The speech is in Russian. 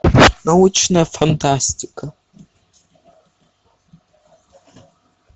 научная фантастика